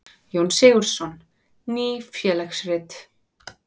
Jón Sigurðsson: Ný félagsrit.